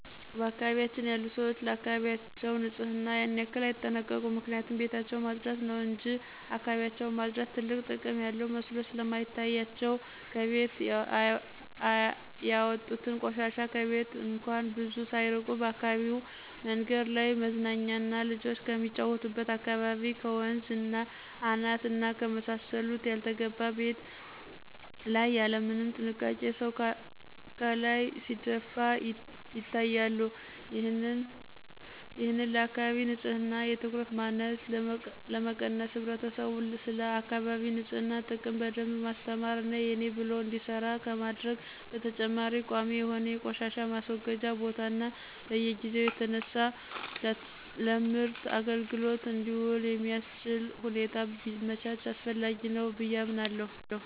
በአካባቢያችን ያሉ ሰዎች ለአካባቢያቸው ንጽህና ያን ያክል አይጠነቀቁም ምክንያቱም ቤታቸውን ማጽዳት ነው እንጅ እካባቢያቸውን ማጽዳት ትልቅ ጥቅም ያለው መስሎ ስለማይታያቸው ከቤት ያወጡትን ቆሻሻ ከቤት እንኳን ብዙ ሳያርቁ በአካባቢው መንገድ ላይ፣ መዝናኛና ልጆች ከሚጫወቱበት አካባቢ፣ ከወንዝ አናት እና ከመሳሰሉት ያልተገባ ቤት ላይ ያለምንም ጥንቃቄ ሰው ካላይ ሲደፉ ይታያሉ። ይህንን ለአካባቢ ንጽህና የትኩረት ማነስ ለመቀነስ ህብረተሰቡን ስለአካቢ ንጽህና ጥቅም በደንብ ማስተማር እና የኔ ብሎ እንዲሰራ ከማድረግ በተጨማሪ ቋሚ የሆነ የቆሻሻ ማስወገጃ ቦታ እና በየጊዜው እየተነሳ ለምርት አግልግሎት እንዲውል የሚአስችል ሁኔታ ቢመቻች አስፈላጊ ነው ብየ አምናለሁ።